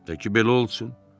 Təki belə olsun.